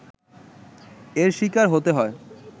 এর শিকার হতে হয়